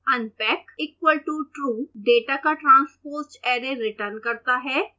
unpack equal to true > data का transposed array return करता है